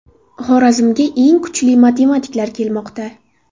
Xorazmga eng kuchli matematiklar kelmoqda.